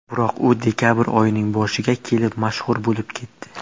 Biroq u dekabr oyining boshiga kelib mashhur bo‘lib ketdi.